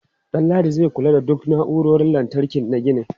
Danladi zai kula da duk na'urorin lantarki na ginin.